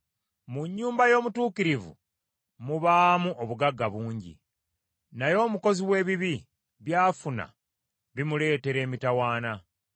Mu nnyumba y’omutuukirivu mubaamu obugagga bungi, naye omukozi w’ebibi by’afuna, bimuleetera emitawaana.